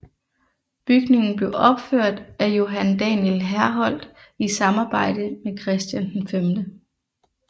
Bygningen blev opført af Johan Daniel Herholdt i samarbejde med Christian V